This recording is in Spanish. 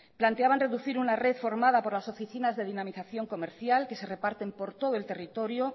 planteaban reducir una red formada por las oficinas de dinamización comercial que se reparten por todo el territorio